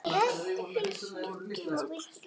er ekkert getið hvers vegna.